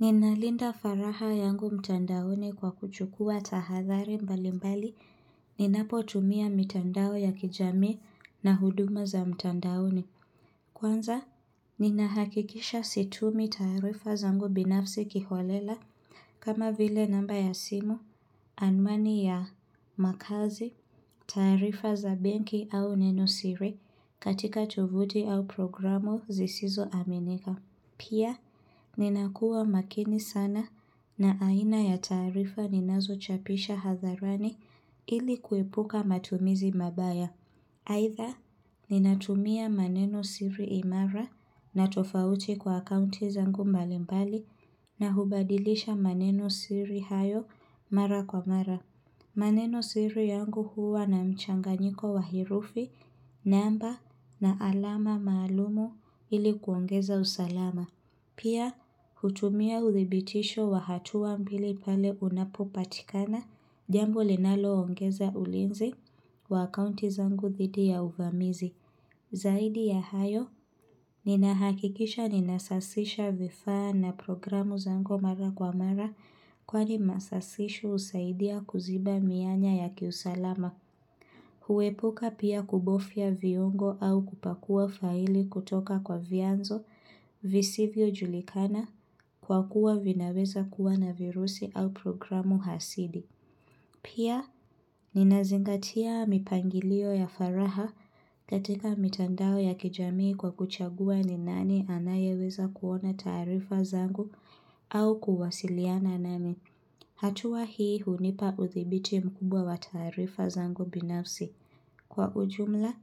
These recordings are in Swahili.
Ninalinda faraga yangu mtandaoni kwa kuchukua tahathari mbali mbali, ninapo tumia mtandao ya kijami na huduma za mtandaoni. Kwanza, ninahakikisha situmii tarifa zangu binafsi kiholela kama vile namba ya simu, anwani ya makazi, taarifa za benki au neno siri katika tovuti au programu zisizo aminika. Pia, ninakua makini sana na aina ya taarifa ninazo chapisha hadharani ili kuipuka matumizi mabaya. Aidha, ninatumia maneno siri imara na tofauti kwa akaunti zangu mbalimbali na hubadilisha maneno siri hayo mara kwa mara. Maneno siri yangu huwa na mchanganyiko wa herufi namba na alama maalumu ili kuongeza usalama. Pia hutumia uthibitisho wa hatua mbili pale unapopatikana jambo linalo ongeza ulinzi wa akaunti zangu thidi ya uvamizi. Zaidi ya hayo, ninahakikisha ninasasisha vifaa na programu zangu mara kwa mara kwani masasisho usaidia kuziba mianya ya kiusalama. Huepuka pia kubofia viungo au kupakua faili kutoka kwa vianzo visivyo julikana kwa kuwa vinaweza kuwa na virusi au programu hasidi. Pia, ninazingatia mipangilio ya faraha katika mitandao ya kijamii kwa kuchagua ni nani anayeweza kuona taarifa zangu au kuwasiliana nani. Hatua hii hunipa uthibiti mkubwa wa taarifa zangu binafsi. Kwa ujumla,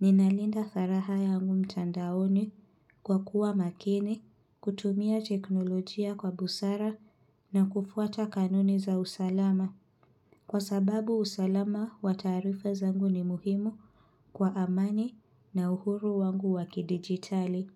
ninalinda faraha yangu mtandaoni kwa kuwa makini, kutumia teknolojia kwa busara na kufuata kanuni za usalama. Kwa sababu usalama wa taarifa zangu ni muhimu kwa amani na uhuru wangu waki digitali.